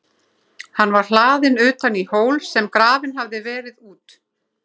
Hann var hlaðinn utan í hól, sem grafinn hafði verið út.